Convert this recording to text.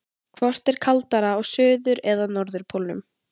Hvort er kaldara á suður- eða norðurpólnum?